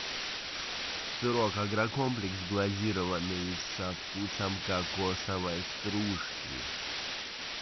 сырок агрокомплекс глазированный со вкусом кокосовой стружки